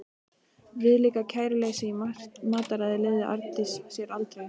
Viðlíka kæruleysi í mataræði leyfði Arndís sér aldrei.